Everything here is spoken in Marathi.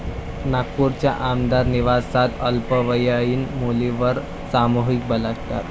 नागपूरच्या आमदार निवासात अल्पवयीन मुलीवर सामूहिक बलात्कार